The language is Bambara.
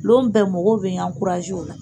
Lon bɛɛ mɔgɔw bɛ n la